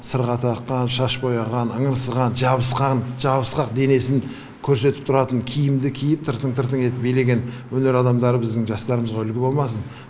сырға таққан шаш бояған ыңырсыған жабысқан жабысқақ денесін көрсетіп тұратын киімді киіп тыртың тыртың етіп билеген өнер адамдары біздің жастарымызға үлгі болмасын